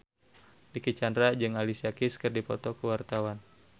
Dicky Chandra jeung Alicia Keys keur dipoto ku wartawan